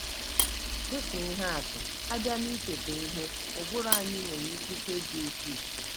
Dị ka ihe atụ, a bịa n’icheta ihe, ụbụrụ anyị nwere ikike dị ukwuu.